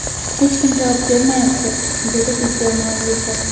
Hech kim javob bermayapti”, – deydi video muallifi.